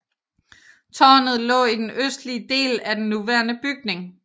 Tårnet lå i den østlige del af den nuværende bygning